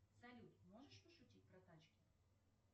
салют можешь пошутить про тачки